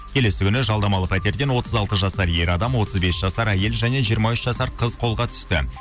келесі күні жалдамалы пәтерден отыз алты жасар ер адам отыз бес жасар әйел және жиырма үш жасар қыз қолға түсті